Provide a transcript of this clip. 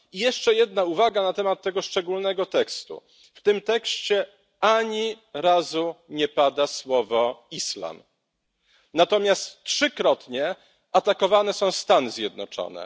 Jeszcze jedna uwaga na temat tego szczególnego tekstu w tym tekście ani razu nie pada słowo Islam, natomiast trzykrotnie atakowane są Stany Zjednoczone.